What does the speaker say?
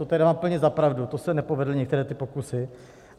To tedy dám úplně za pravdu, to se nepovedly některé ty pokusy.